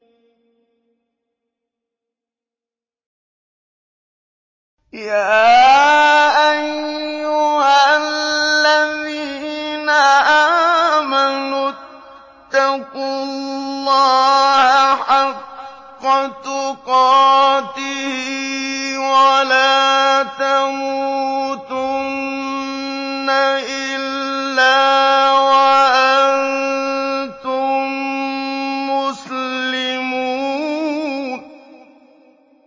يَا أَيُّهَا الَّذِينَ آمَنُوا اتَّقُوا اللَّهَ حَقَّ تُقَاتِهِ وَلَا تَمُوتُنَّ إِلَّا وَأَنتُم مُّسْلِمُونَ